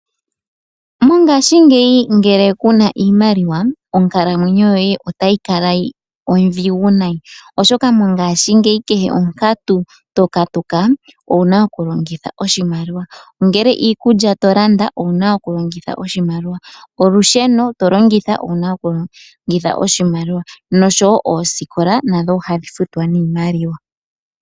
Mongaashi ngeyi ngele kaape na iimaliwa, onkalamwenyo yoye otayi kala ondhigu nayi, oshoka ngaashi ngeyi kehe onkatu to katuka, owu na okulongitha oshimaliwa. Ngele iikulya to landa owu na okulongitha oshimaliwa, olusheno to longitha owu na okulongitha oshimaliwa nosho wo oosikola nadho ohadhi futwa niimaliwa.